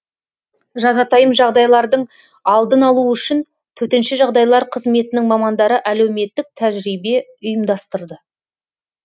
жазатайым жағдайлардың алдын алу үшін төтенше жағдайлар қызметінің мамандары әлеуметтік тәжірибе ұйымдастырды